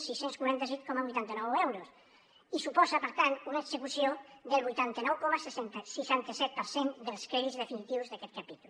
sis cents i quaranta cinc coma vuitanta nou euros i suposen per tant una execució del vuitanta nou coma seixanta set per cent dels crèdits definitius d’aquest capítol